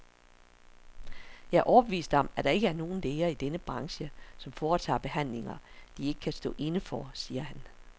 Jeg er overbevist om, at der ikke er nogen læger i denne branche, som foretager behandlinger, de ikke kan stå inde for, siger han.